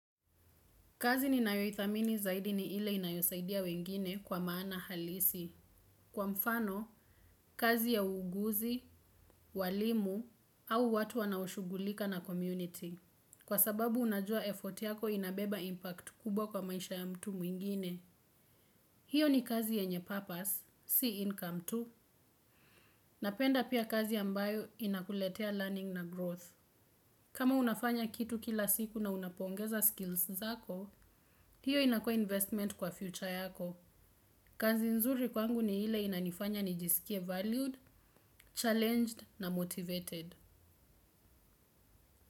Kazi ni nayoithamini zaidi ni ile inayosaidia wengine kwa maana halisi. Kwa mfano, kazi ya uuguzi, walimu au watu wanaoshughulika na community. Kwa sababu unajua effort yako inabeba impact kubwa kwa maisha ya mtu mwingine. Hiyo ni kazi yenye purpose, si income tu. Napenda pia kazi ambayo inakuletea learning na growth. Kama unafanya kitu kila siku na unapongeza skills zako, hiyo inakua investment kwa future yako. Kazi nzuri kwangu ni ile inanifanya nijisikie valued, challenged na motivated.